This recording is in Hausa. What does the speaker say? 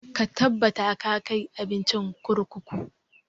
Ka tabbata ka kai abincin kurkuku!